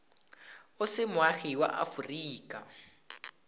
o se moagi wa aforika